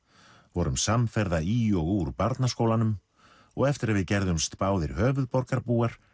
vorum samferða í og úr barnaskólanum og eftir að við gerðumst báðir höfuðborgarbúar